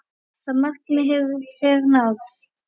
Það markmið hefur þegar náðst.